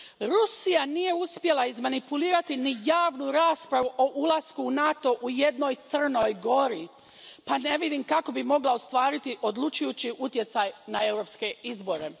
Rusija nije uspjela izmanipulirati ni javnu raspravu o ulasku u NATO u jednoj Crnoj Gori pa ne vidim kako bi mogla ostvariti odlučujući utjecaj na europske izbore.